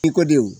I ko denw